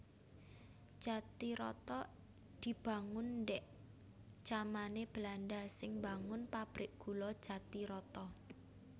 Jatiroto dibangun ndhik jamané Belanda sing mbangun pabrik gula Jatiroto